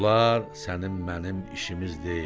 Bunlar sənin mənim işimiz deyil.